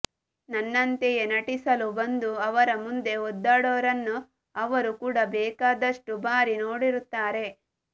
ನನ್ನಂತೆಯೇ ನಟಿಸಲು ಬಂದು ಅವರ ಮುಂದೆ ಒದ್ದಾಡೋರನ್ನು ಅವರು ಕೂಡಾ ಬೇಕಾದಷ್ಟು ಬಾರಿ ನೋಡಿರುತ್ತಾರೆ